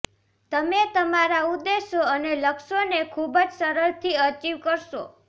તમે તમારા ઉદ્દેશો અને લક્ષ્યોને ખૂબ જ સરળથી અચિવ કરશો